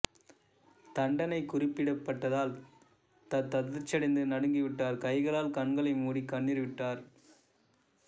தண்டனை குறிப்பிடப்பட்டதால் தத் அதிர்ச்சியடைந்து நடுங்கிவிட்டார் கைகளால் கண்களை மூடி கண்ணீர் விட்டார்